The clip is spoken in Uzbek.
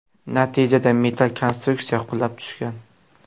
Natijada metall konstruksiya qulab tushgan.